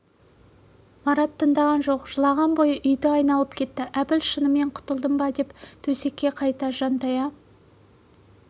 марат тындаған жоқ жылаған бойы үйді айналып кетті әбіл шынымен құтылдым ба деп төсекке қайта жантая